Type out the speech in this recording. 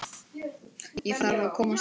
Ég þarf að komast upp.